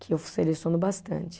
Que eu seleciono bastante.